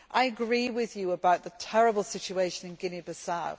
I agree with you about the terrible situation in Guinea Bissau.